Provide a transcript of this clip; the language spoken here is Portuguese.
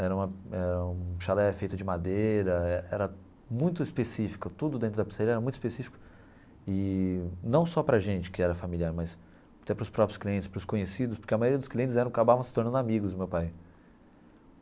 Era uma era um chalé feito de madeira, era muito específico, tudo dentro da pizzaria era muito específico, e não só para a gente que era familiar, mas até para os próprios clientes, para os conhecidos, porque a maioria dos clientes eram acabavam se tornando amigos do meu pai.